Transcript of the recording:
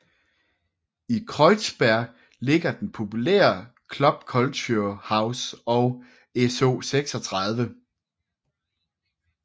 I Kreuzberg ligger den populære Club Culture House og SO36